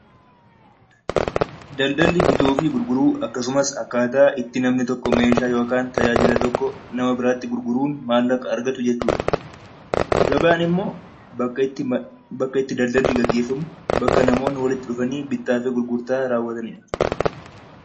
Daldalli bituu fi gurguruu, akkasumas akkaataa itti namni meeshaa yookiin tajaajila tokko nama biraatti gurguruun maallaqa argatu jechuudha. Gabaan immoo bakka itti daldalli gaggeeffamu; bakka itti namoonni walitti dhufanii bittaa fi gurgurtaa raawwatan jechuudha.